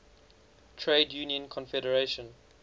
trade union confederation